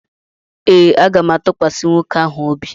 Ee, aga m atụkwasị nwoke ahụ obi.